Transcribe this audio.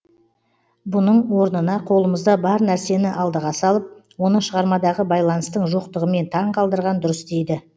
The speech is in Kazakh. бұның орнына қолымызда бар нәрсені алдыға салып оны шығармадағы байланыстың жоқтығымен таң қалдырған дұрыс дейді